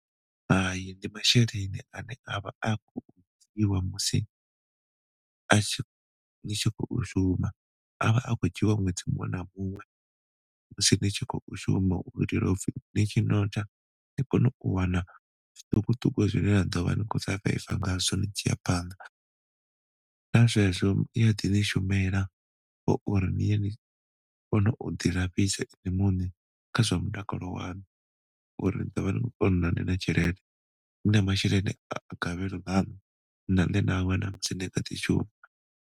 Hai, ndi masheleni ane avha a khou vhewa musi a tshi ni tshi khou shuma. A vha a tshi khou dzhiwa ṅwedzi muṅwe na muṅwe musi ni tshi khou shuma u itela upfi ni ni kone u wana zwiṱukuṱuku zwine na ḓovha ni khou surviver ngazwo ni tshi a phanḓa sa zwezwo iya ḓi ḓi shumela kha uri niye nikone u ḓi lafhisa inwi muṋe kha zwa mutakalo waṋu uri ni ḓovha badi na tshelede, ni na masheleni a gavhelo ane na wana musi ni tshi kha ḓi shuma.